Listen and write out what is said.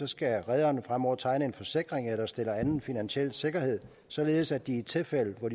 skal rederne fremover tegne en forsikring eller stille anden finansiel sikkerhed således at i tilfælde hvor